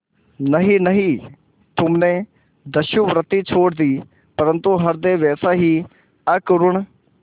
नहीं नहीं तुमने दस्युवृत्ति छोड़ दी परंतु हृदय वैसा ही अकरूण